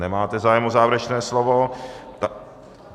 Nemáte zájem o závěrečné slovo.